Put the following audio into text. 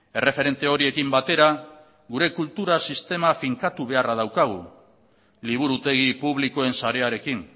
erreferente horiekin batera gure kultura sistema finkatu beharra daukagu liburutegi publikoen sarearekin